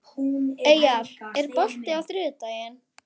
Eyjar, er bolti á þriðjudaginn?